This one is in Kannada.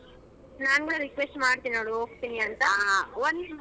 ನಾನು request ಮಾಡ್ತೀನಿ ಅಲ್ ಹೋಗ್ತೀನಿ ಅಂತ.